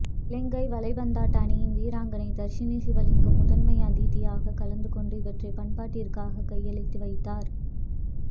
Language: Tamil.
இலங்கை வலைபந்தாட்ட அணியின் வீராங்கனை தர்சினி சிவலிங்கம் முதன்மை அதிதியாக கலந்துகொண்டு இவற்றை பயன்பாட்டிற்காக கையளித்து வைத்தார்